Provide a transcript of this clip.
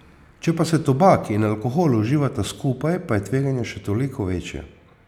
Če pa se tobak in alkohol uživata skupaj, pa je tveganje še toliko večje.